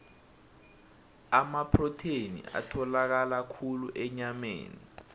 amaprotheni atholakala khulu enyameni